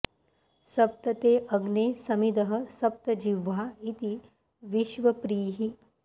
स॒प्त ते॑ अग्ने स॒मिधः॑ स॒प्त जि॒ह्वा इति॑ विश्व॒प्रीः